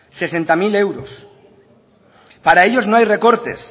sesenta mil euros para ellos no hay recortes